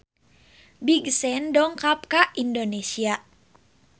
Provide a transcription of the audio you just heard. Big Sean dongkap ka Indonesia